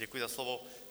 Děkuji za slovo.